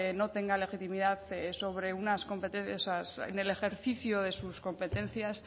no tenga legitimidad en el ejercicio de sus competencias